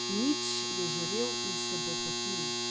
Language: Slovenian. Nič je žarel in se bohotil.